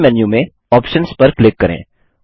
मुख्य मेन्यू में आप्शंस पर क्लिक करें